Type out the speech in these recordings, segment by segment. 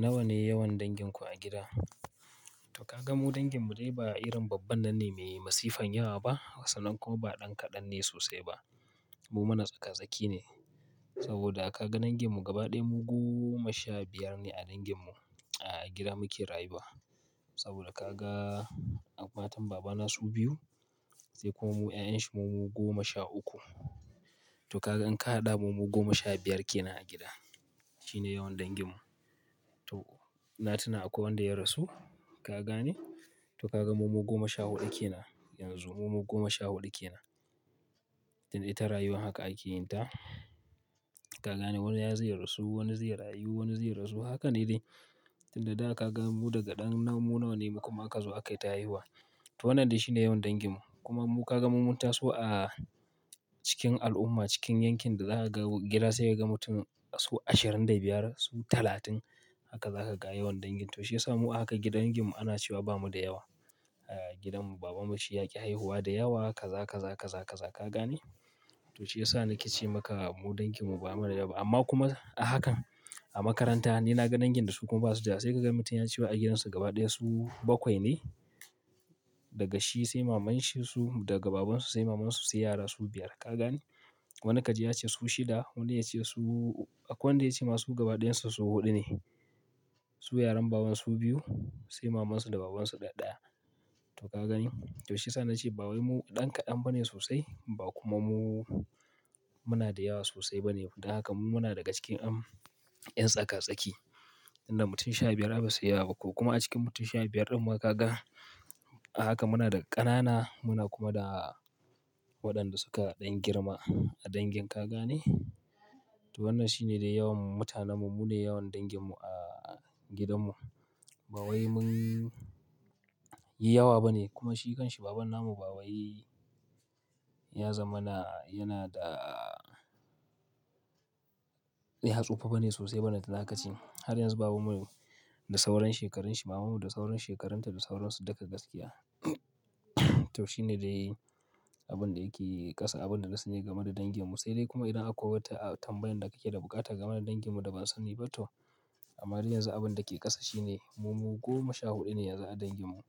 Nawa ne yawan danginku a gida? To ka gan mu dangin mu dai ba irin babban nan ne mai masifan yawa ba, sannan kuma ba ɗan kaɗan ne sosai ba. Mu mana tsaka-tsaki ne saboda a ka ga dangin mu gaba ɗaya mu goma sha biyar ne a dangin mu a gida muke rayuwa. Saboda ka ga matan baba na su biyu, sai kuma mu 'ya'yan shi mumu goma sha uku. To ka gan in ka haɗa mu goma sha biyar ke nan a gida, shi ne yawan dangin mu. To, na tuna akwai wanda ya rasu, ka gane? To ka ga mu goma sha huɗu ke nan yanzu, mu goma sha huɗu ke nan. Tin ita rayuwa haka ake yin ta. Ka gane wani ya zai rasu, wani zai rayu, wani zai rasu. Haka ne dai. Tin da daga ka ga mu daga ɗan namu nawa ne mu kuma aka zo aka yi ta haihuwa. To wannan dai shi ne yawan dangin mu. Kuma mu ka ga mu munta su a cikin al'umma, cikin yankin da za ka ga gida sai ka ga mutum su ashirin da biyar, su talatin. Haka za ka ga yawan dangin. To shiyasa mu a haka gidan dangin mu ana cewa ba mu da yawa. Gidan baba mu shi yaƙi haihuwa da yawa, ka za ka, za ka, za ka, za ka gane. To shiyasa na ce maka mu dangin mu ba mu da yawa. Amma kuma a hakan a makaranta ni na ga dangin da su kuma ba su da, sai ka ga mutum ya ce wa a gidansu gaba ɗaya su bakwai ne. Daga shi sai mamanshi su, daga babansu sai mamansu sai yara su biyar, ka gane? Wani ka ji ya ce su shida, wani ya ce su akwai wanda ya ce masu gaba ɗayan su, su huɗu ne. Su yaran baban su biyu sai mamansu da babansu ɗaɗaya. To ka gani? To shiyasa na ce baba mu ɗan kaɗan ba ne sosai, ba kuma mu muna da yawa sosai ba ne. Da haka mu muna daga cikin 'yan tsaka-tsaki. Inda mutum sha biyar ba su yi yawa ba kuma a cikin mutum sha biyar ɗin muka ga a haka muna da ƙanana muna kuma da waɗanda suka ɗan girma a dangin, ka gane? To wannan shi ne dai yawan mu mutane mu, mu ne yawan dangin mu a gidan mu. Bawai munyi yawa ba ne kuma shi kan shi, baban namu bawai ya zamana, yana da ya tsuɓa bane sosai balanta na kaci. Har yanzu baba mu da sauran shekaranshi, mama mu da sauran shekaranta da sauran su duka gaskiya to shi ne dai abin da yake ƙasa, abin da na sani game da dangin mu. Sai dai kuma idan akwai wata tambayar da ka ke da buƙata game da dangin mu da ban sani ba toh. Amma har yanzu abin da ke ƙasa shi ne mu goma sha huɗu ne yanzu a dangin mu.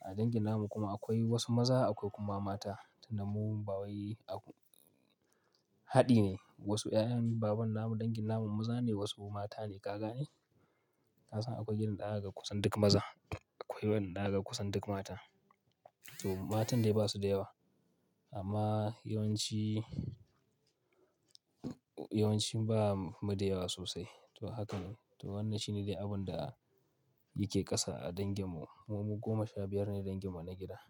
A dangin namu kuma akwai wasu maza akwai kuma mata. Tin da mu bawai haɗi ne. Wasu 'ya'yan baban namu dangin namun maza ne wasu mata ne, ka gane? Kasan akwai gidan da zaka ga kusan duk maza, akwai wanda zaka kusan duk mata. To matan dai ba su da yawa amma yawanci, yawanci ba mu da yawa sosai. To haka ne. To wannan shi ne dai abin da yake ƙasa a dangin mu. Mu goma sha biyar ne dangin mu na gida.